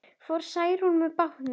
Fór Særún með bátnum.